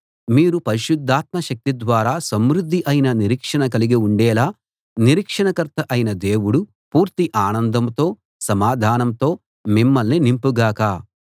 మీరు పరిశుద్ధాత్మ శక్తి ద్వారా సమృద్ధి అయిన నిరీక్షణ కలిగి ఉండేలా నిరీక్షణకర్త అయిన దేవుడు పూర్తి ఆనందంతో సమాధానంతో మిమ్మల్ని నింపు గాక